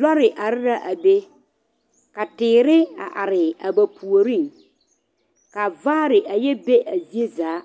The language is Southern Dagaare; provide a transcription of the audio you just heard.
lɔre are la a be ka teere a are a ba puoriŋ k'a vaare a yɛ be a zie zaa.